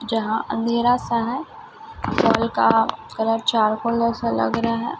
जहां अंधेरा सा है का कलर चारकोल जैसा लग रहा है।